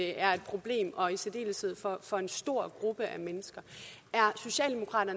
er et problem og i særdeleshed for for en stor gruppe mennesker